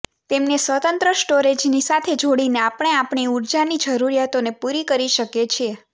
તેમને સ્વતંત્ર સ્ટોરેજની સાથે જોડીને આપણે આપણી ઉર્જાની જરૂરિયાતોને પૂરી કરી શકીએ છીએ